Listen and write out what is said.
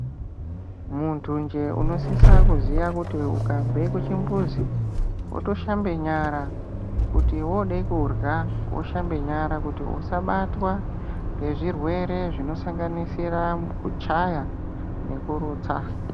Muntunje unosisa kuziya kuti ukabve kuchimbuzi wotoshambe nyara kuti wode kuhya woshambe nyara kuti usabatwa ngezvirwere zvinosanganisira kuchaya nekurutsa.